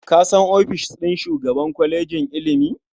Ka san ofishin shugaban kwalejin ilimi?